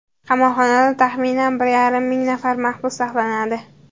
Qamoqxonada taxminan bir yarim ming nafar mahbus saqlanadi.